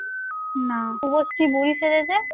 শুভশ্রী বুড়ি সেজেছে